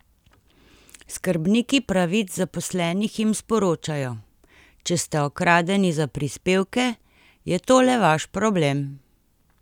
Skrbniki pravic zaposlenih jim sporočajo: "Če ste okradeni za prispevke, je to le vaš problem!